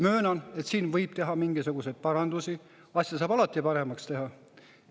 Möönan, et siin võib teha mingisuguseid parandusi, asja saab alati paremaks teha.